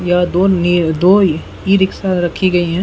यह दो न्यू दो ई-रिक्शा रखी गयी हैं।